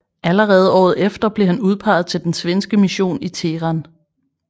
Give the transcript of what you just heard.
Allerede året efter blev han udpeget til den svenske mission i Teheran